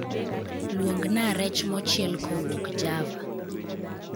Luongna rech mochiel kowuok java